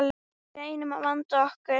Við reynum að vanda okkur.